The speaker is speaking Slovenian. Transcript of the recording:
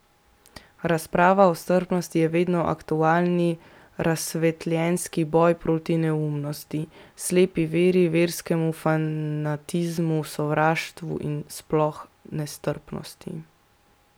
Razprava o strpnosti je vedno aktualni razsvetljenski boj proti neumnosti, slepi veri, verskemu fanatizmu, sovraštvu in sploh nestrpnosti.